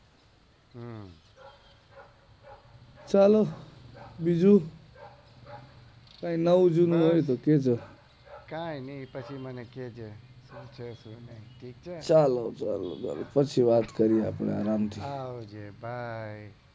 ચાલો બીજું કઈ નવું જૂનું હોઈ તો કેજો કઈ નાઈ પછી મને કે જે ચાલો ચાલો ચાલો પછી વાત કરીએ આપણે આરામ થી આવજે બયય